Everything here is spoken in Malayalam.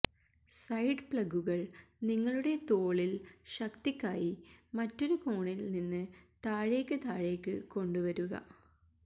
സൈഡ് പ്ലങ്കുകൾ നിങ്ങളുടെ തോളിൽ ശക്തിക്കായി മറ്റൊരു കോണിൽ നിന്ന് താഴേക്ക് താഴേക്ക് കൊണ്ടുവരുക